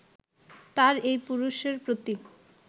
তার এই পুরুষের প্রতি